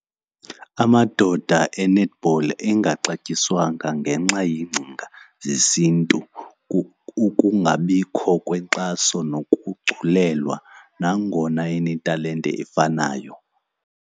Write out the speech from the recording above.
Amadoda e-netball engaxatyiswanga ngenxa yeengcinga zesiNtu, ukungabikho kwenkxaso nokugculelwa, nangona enetalente efanayo.